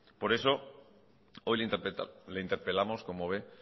por eso hoy le interpelamos como ve